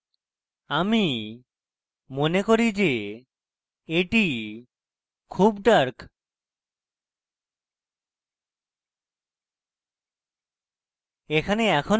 আমি মনে করি যে এটি খুব dark